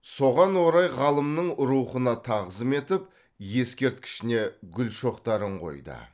соған орай ғалымның рухына тағзым етіп ескерткішіне гүл шоқтарын қойды